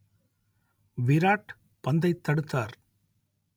விராட் பந்தைத் தடுத்தார்